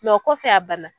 Mɛ o kɔfɛ a banna